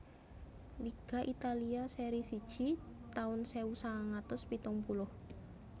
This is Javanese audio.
Liga Italia Serie siji taun sewu sangang atus pitung puluh